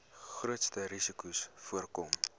grootste risikos voorkom